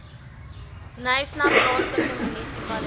knysna plaaslike munisipaliteit